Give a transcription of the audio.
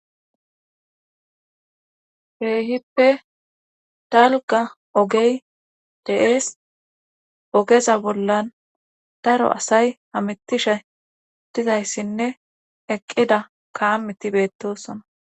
Keehippe dalga ogey deees ogeza bollan daro asay hamitishe dizayssinne eqqida kaamiti beettosona.